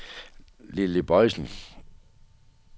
Lilly Boysen